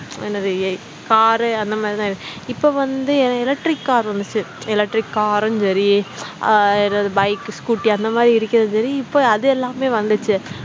என்னது எ car உ அந்த மாதிரி தான் இருந்துது இப்ப வந்து என்ன electric car வந்துடுச்சு electric car ம் சரி அஹ் எதாவது bike, scooter அந்த மாதிரி இருக்கிறதும் சரி இப்ப அது எல்லாமே வந்துடுச்சு